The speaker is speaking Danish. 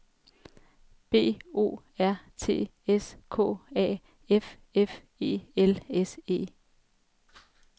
B O R T S K A F F E L S E